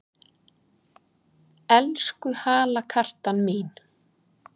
Elsku halakartan mín!